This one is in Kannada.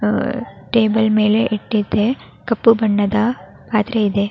ಅಹ್ ಟೇಬಲ್ ಮೇಲೆ ಇಟ್ಟಿದ್ದೆ ಕಪ್ಪು ಬಣ್ಣದ ಪಾತ್ರೆ ಇದೆ.